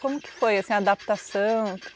Como foi essa adaptação?